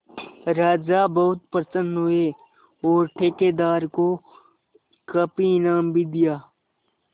राजा बहुत प्रसन्न हुए और ठेकेदार को काफी इनाम भी दिया